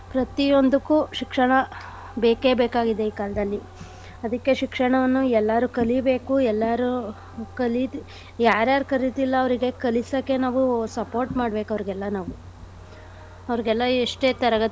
ಪ್ರತಿ ಒಂದಕ್ಕೂ ಶಿಕ್ಷಣ ಬೇಕೆ ಬೇಕಾಗಿದೆ ಈ ಕಾಲ್ದಲ್ಲಿ ಅದಕ್ಕೇ ಶಿಕ್ಷಣವನ್ನು ಎಲ್ಲಾರು ಕಲಿಬೇಕು ಎಲ್ಲಾರು ಕಲಿದ್~ ಯಾರ್ಯಾರ್ ಕಲಿತಿಲ್ಲ ಅವ್ರಿಗೆ ಕಲಿಸಕ್ಕೆ ನಾವು support ಮಾಡ್ಬೇಕು ಅವ್ರಿಗೆಲ್ಲ ನಾವು ಅವ್ರಿಗೆಲ್ಲ ಎಷ್ಟೇ ತರಗತಿಗಳನ್ನು.